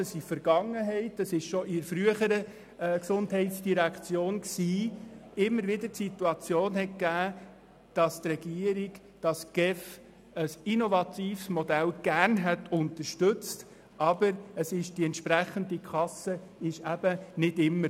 In der Vergangenheit hätte die frühere GEF immer wieder gerne ein innovatives Modell unterstützt, aber die entsprechende Kasse fehlte.